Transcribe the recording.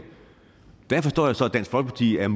der forstår jeg så at dansk folkeparti er